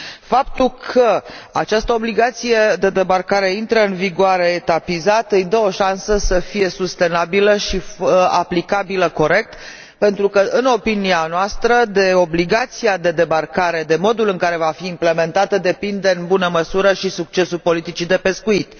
Faptul că această obligație de debarcare intră în vigoare etapizat îi dă o șansă să fie sustenabilă și aplicată corect pentru că, în opinia noastră, de obligația de debarcare, de modul în care va fi implementată, depinde, în mare măsură, și succesul politicii de pescuit.